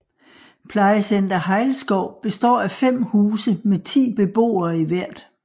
Plejecenter Hejlskov består af 5 huse med 10 beboere i hvert